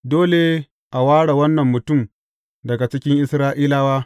Dole a ware wannan mutum daga cikin Isra’ilawa.